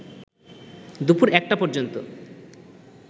দুপুর একটা পর্যন্ত